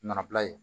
Nɔnɔ bila ye